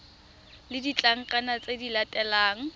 le ditlankana tse di latelang